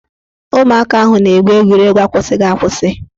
Ụmụaka ahụ na-egwu egwuregwu akwụsịghị akwụsị